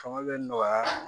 Fanga bɛ nɔgɔya